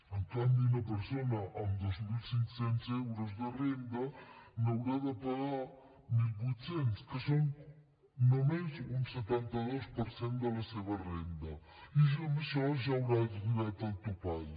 en canvi una persona amb dos mil cinc cents euros de renda n’haurà de pagar mil vuit cents que són només un setanta dos per cent de la seva renda i ja amb això ja haurà arribat al topall